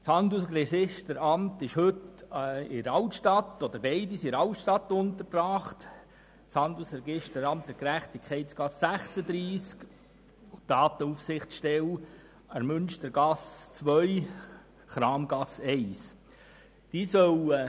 Beide sind in der Altstadt untergebracht, das Handelsregisteramt an der Gerechtigkeitsgasse 36 und die Datenaufsichtsstelle an der Münstergasse 2/Kramgasse 1.